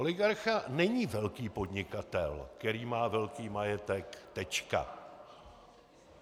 Oligarcha není velký podnikatel, který má velký majetek, tečka.